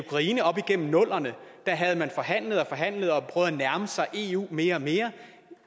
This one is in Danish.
ukraine op igennem nullerne havde forhandlet og forhandlet og prøvet at nærme sig eu mere og mere